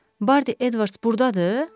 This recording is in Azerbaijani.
Bardi Edvards burdadır?